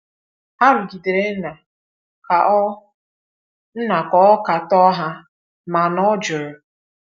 Ha rụgidere Nna ka ọ Nna ka ọ katọọ ha, mana ọ jụrụ.